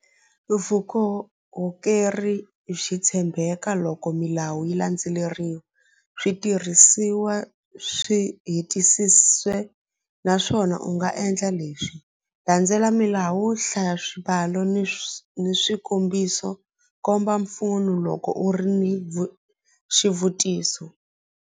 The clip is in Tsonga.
Vukorhokeri byi tshembeka loko milawu yi landzeleriwa switirhisiwa swi naswona u nga endla leswi landzela milawu hlaya swimbalo ni ni swikombiso komba mpfuno loko u ri ni xivutiso.